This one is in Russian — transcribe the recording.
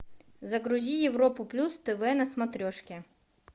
загрузи европу плюс тв на смотрешке